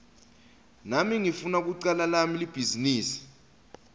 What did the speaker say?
nami ngifuna kucala lami libhizinisi